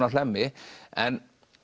á Hlemmi en